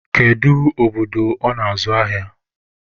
Kedu obodo ọ nọ azụ ahịa?